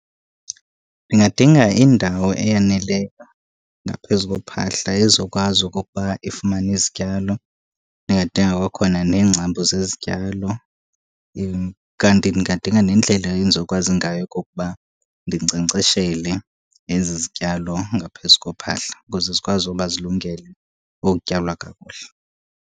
Ndingadinga indawo eyaneleyo ngaphezu kophahla ezokwazi okokuba ifumane izityalo. Ndingadinga kwakhona neengcambu zezityalo , kanti ndingadinga nendlela endizokwazi ngayo okokuba ndinkcenkceshele ezi zityalo ngaphezu kophahla ukuze zikwazi uba zilungele ukutyalwa kakuhle.